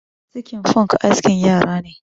Sikin Funk askin yara ne.